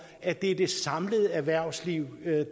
at det er det samlede erhvervsliv